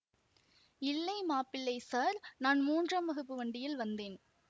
இல்லை மாப்பிள்ளை ஸார் நான் மூன்றாம் வகுப்பு வண்டியில் வந்தேன்